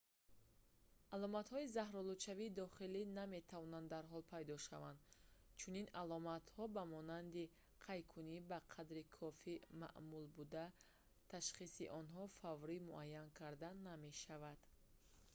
аломатҳои заҳролудшавии дохилӣ наметавонанд дарҳол пайдо шаванд чунин аломатҳо ба монанди қайкунӣ ба қадри кофӣ маъмул буда ташхиси онҳо фаврӣ муайян карда намешавад